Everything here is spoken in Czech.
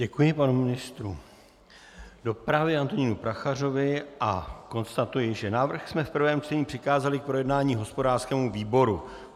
Děkuji panu ministru dopravy Antonínu Prachařovi a konstatuji, že návrh jsme v prvém čtení přikázali k projednání hospodářskému výboru.